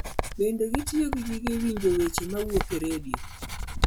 Bende gitiyo gi gige winjo weche mawuok e redio.